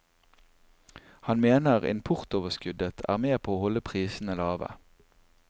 Han mener importoverskuddet er med på å holde prisene lave.